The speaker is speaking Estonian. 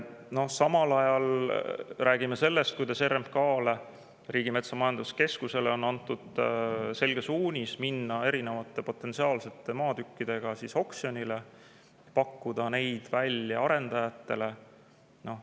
Ja samal ajal räägime sellest, et RMK-le, Riigimetsa Majandamise Keskusele, on antud selge suunis minna potentsiaalsete maatükkidega oksjonile, neid arendajatele välja pakkuda.